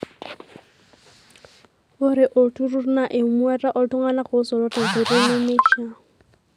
Ore olturur naa eumata ooltung'anak oosoto tenkoitoi nemeishiaa.